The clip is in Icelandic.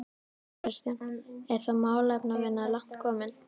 Kristján: Er þá málefnavinna langt komin?